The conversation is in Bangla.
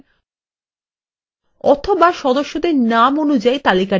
অথবা সদস্যের নাম অনুযায়ী তালিকাটিকে সাজাতে পারেন